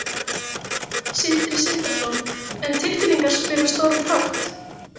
Sindri Sindrason: En tilfinningar spila stóran þátt?